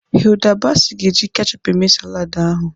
Hilda Baci ga-eji kechup eme saladị ahụ.